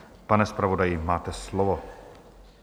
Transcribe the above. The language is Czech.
Pane zpravodaji, máte slovo.